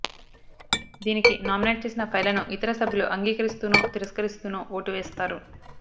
దీనికి నామినేట్ చేసిన ఫైళ్ళను ఇతర సభ్యులు అంగీకరిస్తూనో తిరస్కరిస్తూనో ఓటు వేస్తారు